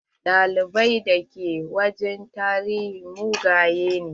Malamai da ke wajen tarihi mugaye ne.